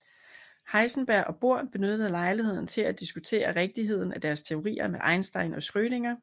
Heisenberg og Bohr benyttede lejligheden til at diskutere rigtigheden af deres teorier med Einstein og Schrödinger